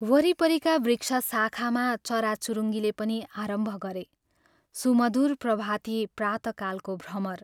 वरिपरिका वृक्षशाखामा चराचुरुङ्गीले पनि आरम्भ गरे सुमधुर प्रभाती प्रातः कालको भ्रमर